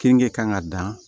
Kenige kan ka dan